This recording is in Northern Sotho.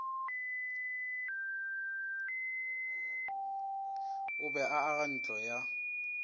a be a agantlo ya